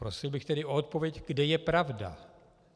Prosil bych tedy o odpověď, kde je pravda.